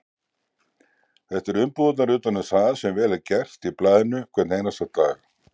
Þetta eru umbúðirnar utan um það sem vel er gert í blaðinu hvern einasta dag.